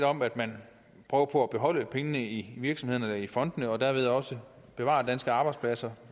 om at man prøver på at beholde pengene i virksomhederne eller i fondene og dermed også bevarer danske arbejdspladser